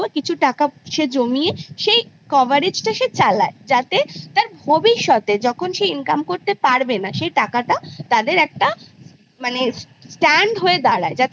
কিছু টাকা সে জমিয়ে সেই coverage টা সে চালায় যাতে তার ভবিষ্যতে যখন সে income করতে পারবে না সেই টাকাটা তাদের একটা মানে stand হয়ে দাঁড়ায় যাতে